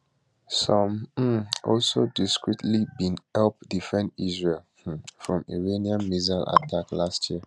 some um also discreetly bin help defend israel um from iranian missile attack last year